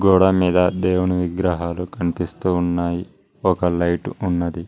గోడ మీద దేవుని విగ్రహాలు కనిపిస్తూ ఉన్నాయి ఒక లైటు ఉన్నది.